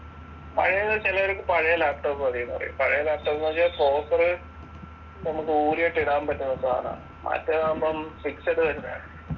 പഴയത് ചിലവരിക്ക് പഴയ laptop മതിന്ന് പറയും പഴയ laptop വച്ചാ proper നമുക്ക് ഊരിയെടുത്ത് ഇടാൻ പറ്റുന്ന സാധനാണ്‌ മറ്റേതാവുമ്പം fixed വരുന്നയാണ്